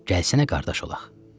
Gəlsənə qardaş olaq!